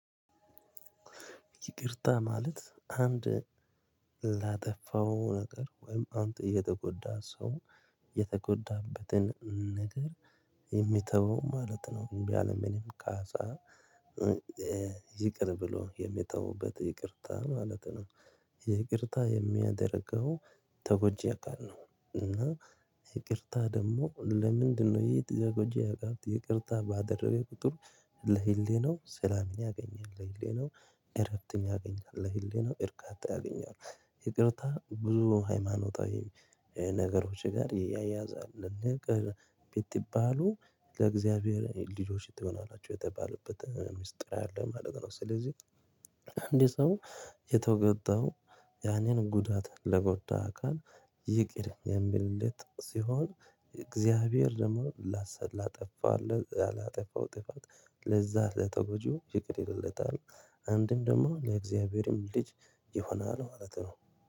ይቅርታ ማለት አንድ ላጠፋው ነገር ወይም አንድ የተጎዳ ሰው የተጎዳበትን ነገር የሚተው ማለት ነው ያለ ምንም ካሳ ይቅር ብሎ የሚተዉበት ይቅርታ ማለት ነው። ይቅርታ የሚያደርገው ተጎጂ አካል ነው እና ይቅርታ ደግሞ ለምንድነው ይህ ተጎጂ አካል ይቅርታ ባደረገ ቁጥር ለህሊናው ሰላምን ያገኛል ለህሊናው እረፍትን ያገኛል ለህሊናው እርካታ ያገኛል። ይቅርታ ብዙ ሃይማኖታዊ ነገሮች ጋር ይያያዛል ብትባሉ ለእግዚአብሔር ልጆች ትሆናላችሁ የተባሉበት ሚስጥር አለ ማለት ነው። ስለዚህ አንድ ሰው የተጎዳው ያንን ጉዳት ለጎዳ አካል ይቅር የሚልለት ሲሆን እግዚአብሔር ደግሞ ላጠፋው ላጠፋው ጥፋት ለዛ ለተጎጂው ይቅር ይልለታል አንድም ደግሞ ለእግዚአብሔርም ልጅ ይሆናል ማለት ነው